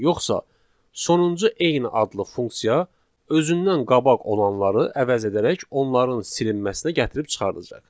yoxsa sonuncu eyni adlı funksiya özündən qabaq olanları əvəz edərək onların silinməsinə gətirib çıxardacaq.